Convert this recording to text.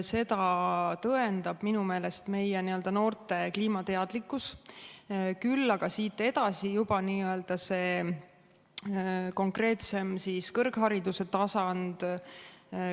Seda tõendab minu meelest meie noorte kliimateadlikkus, küll aga tuleb siit edasi juba see konkreetsem kõrghariduse tasand.